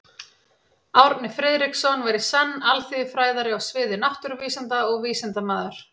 Árni Friðriksson var í senn alþýðufræðari á sviði náttúruvísinda og vísindamaður.